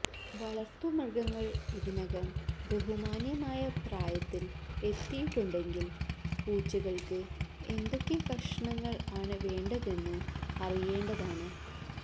വളർത്തുമൃഗങ്ങൾ ഇതിനകം ബഹുമാന്യമായ പ്രായത്തിൽ എത്തിയിട്ടുണ്ടെങ്കിൽ പൂച്ചകൾക്ക് എന്തൊക്കെ കഷണങ്ങൾ ആണ് വേണ്ടതെന്ന് അറിയേണ്ടതാണ്